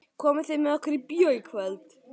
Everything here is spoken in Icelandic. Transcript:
Komið þið með okkur í bíó í kvöld?